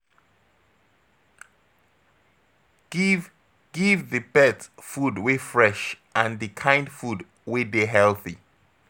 Give Give di pet food wey fresh and di kind food wey dey healthy